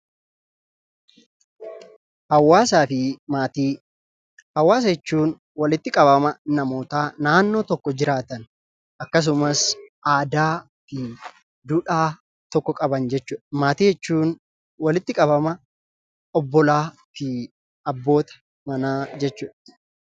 Hawaasa jechuun walitti qabama namootaa naannoo tokko jiraatan, akkasumas aadaa fi duudhaa tokko qaban jechuudha. Maatii jechuun walitti qabama obbolaa fi abbootii jechuudha.